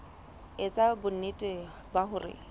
e etsa bonnete ba hore